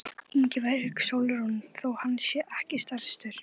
Ingibjörg Sólrún: Þó hann sé ekki stærstur?